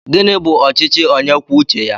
Gịnị bú ọchịchị ónyé kwụọ uche ya?